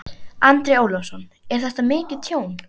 Andri Ólafsson: Er þetta mikið tjón?